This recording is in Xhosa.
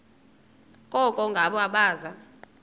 koko ngabo abaza